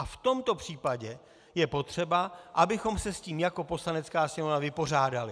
A v tomto případě je potřeba, abychom se s tím jako Poslanecká sněmovna vypořádali.